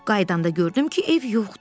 Qayıdanda gördüm ki, ev yoxdur.